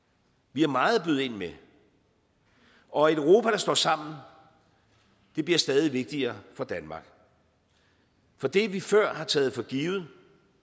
vi har meget at byde ind med og et europa der står sammen bliver stadig vigtigere for danmark for det vi før har taget for givet